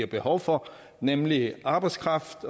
behov for nemlig arbejdskraft